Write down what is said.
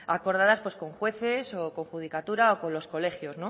acordadas con jueces o con judicatura o con los colegios